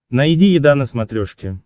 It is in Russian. найди еда на смотрешке